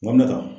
Wa n bɛ ka taa